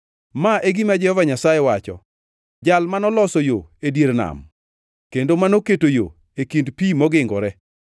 Ma e gima Jehova Nyasaye wacho, Jal manoloso yo e dier nam, kendo manoketo yo e kind pi mogingore,